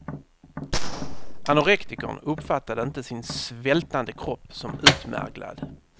Anorektikern uppfattar inte sin svältande kropp som utmärglad.